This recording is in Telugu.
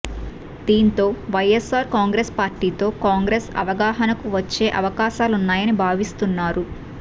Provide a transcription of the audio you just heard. దీంతో వైయస్సార్ కాంగ్రెసు పార్టీతో కాంగ్రెసు అవగాహనకు వచ్చే అవకాశాలున్నాయని భావిస్తున్నారు